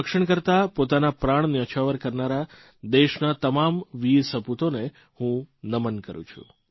ભારતમાતાનું રક્ષણ કરતાં પોતાના પ્રાણ ન્યોછાવર કરનારા દેશના તમામ વીર સપૂતોને હું નમન કરૂં છું